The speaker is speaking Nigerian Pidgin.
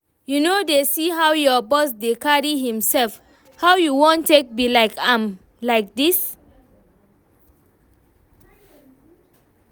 You no dey see how your boss dey carry himself? How you wan take be like am like dis?